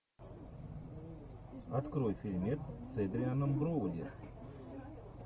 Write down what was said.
открой фильмец с эдрианом броуди